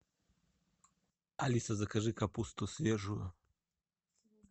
алиса закажи капусту свежую